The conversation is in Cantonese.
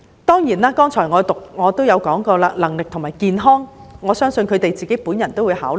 當然，我剛才亦提過能力和健康的因素，我相信法官亦會自行考慮。